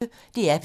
DR P1